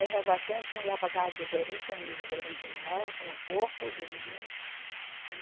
Aí nós baixamos, fomos lá para a casa do gerente, aonde o gerente morava, com o corpo do menino.